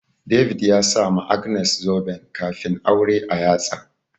David ya sama Agnes zuben kafin aure a yatsa.